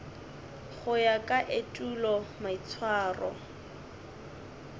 go ya ka etulo maitshwaro